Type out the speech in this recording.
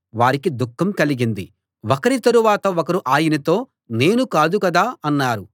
వారికి దుఃఖం కలిగింది ఒకరి తరవాత ఒకరు ఆయనతో నేను కాదు కదా అన్నారు